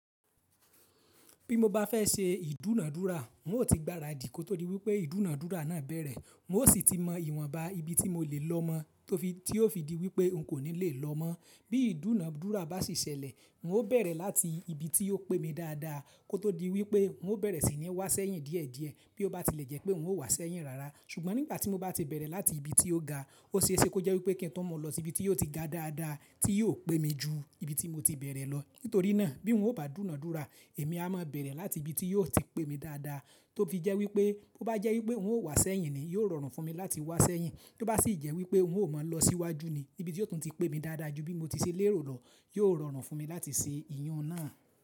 Bí mo bá fẹ́ ṣe ìdúnàdúrà, n o ti gba ràdí kó tó di wípẹ́ ìdúnàdúrà náà bẹ̀rẹ̀. N o sì ti mọ ìwọ̀nba ibi tí mo le lọmọ, tó fi tí ó fi di wípẹ́ n kò ní lè lọ mọ́. Bí ìdúnàdúrà bá sì ṣẹlẹ̀, n o bẹ̀rẹ̀ láti ibi tí ó pé mi dáadáa kó tó di wípẹ́ n o bẹ̀rẹ̀ sí ní wá sẹ́yìn díẹ̀díẹ̀ bí ó bá ti lẹ́jẹ̀ pé n o wá sẹ́yìn rárá. Ṣùgbọ́n nígbà tí mo bá ti bẹ̀rẹ̀ láti ibi tí ó ga, ó ṣe é ṣe kó jẹ́ wípẹ́ kí n tó mọ̀ lọ sí ibi tí ó ti ga dáadáa tí yíó pé mi jù ibi tí mo ti bẹ̀rẹ̀ lọ. Nítorí náà bí n o bá dúnàdúrà, èmi a má a bẹ̀rẹ̀ láti ibi tí yíó ti pé mi dáadáa tó fi jẹ́ wípẹ́ bó bá jẹ́ wípẹ́ n o wá sẹ́yìn ni, yóò rọrùn fún mi láti wá sẹ́yìn. Bí ó bá sì jẹ́ wípẹ́ n o mọ̀ lọ síwájú ni, ibi tí ó tún ti pé mi dáadáa jù bí mo ti ṣe lérò lọ, yóò rọrùn fún mi láti ṣe ìyàn náà.